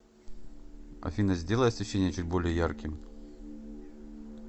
афина сделай освещение чуть более ярким